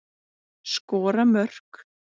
Skora mörk.